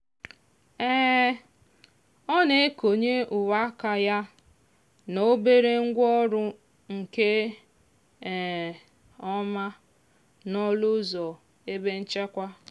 um ọ na-ekonye uwe aka ya na obere ngwaọrụ nke um ọma n'ọnụ ụzọ ebe nchekwa.